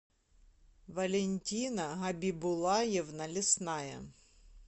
валентина габибулаевна лесная